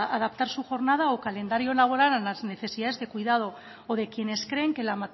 adaptar su jornada o calendario laboral a las necesidades de cuidado o de quienes creen que la